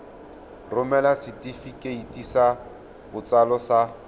romela setefikeiti sa botsalo sa